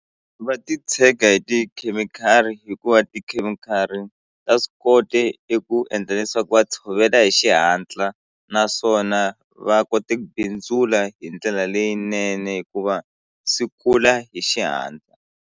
Va titshega hi tikhemikhali hikuva tikhemikhali ta swi kota eku endla leswaku va tshovela hi xihatla naswona va kote ku bindzula hi ndlela leyinene hikuva swi kula hi xihatla.